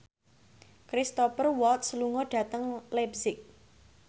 Cristhoper Waltz lunga dhateng leipzig